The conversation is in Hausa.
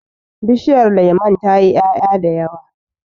Bishiyar lemun tayi 'ya'ya da yawa.